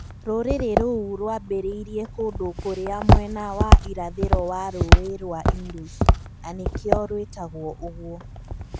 rũrĩrĩ rũu rwaambĩrĩirie kũndũ kũrĩa mwena wa irathĩro wa Rũũĩ rwa Indus, na nĩkĩo rwĩtagwo ũguo.